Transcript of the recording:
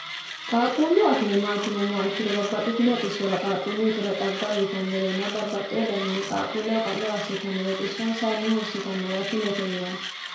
qaaquullu akime maati yinummoha ikkiro babbaxxitino xissora qaaquulluyitera xagga uyiitannorenna babbaxxeo daniinni qaaquulleho ka'lo assitannore xissonsayinni hursitannore akimete yinann